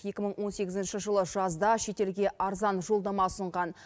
екі мың он сегізінші жылы жазда шетелге арзан жолдама ұсынған